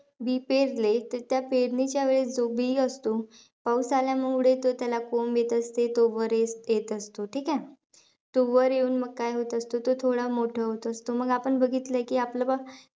बी पेरले तर त्या पेरणीच्या वेळी जो बी असतो, पाऊस आल्यामुळे तो त्याला कोंब येत असते. तो वर येत असतो, ठीके? तो वर येऊन मग काय होत असते? तो थोडा मोठा होत असतो. मग आपण बघितलयं की आपलं बा,